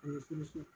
A bɛ furusiri